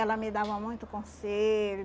Ela me dava muito conselho.